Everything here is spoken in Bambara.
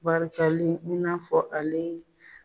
Barikali i n'a fɔ ale